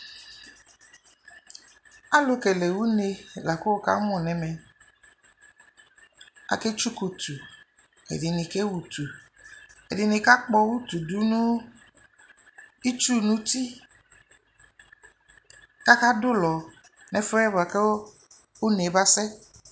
Alʋkele une lakʋ wukamʋ n'ɛmɛ Aketsukʋ utu, ɛdini kewu utu, ɛdini kakpɔ utu dʋ nʋ itsu nʋ uti kakadʋ ʋlɔ nʋ ɛfuɛ buakʋ une masɛ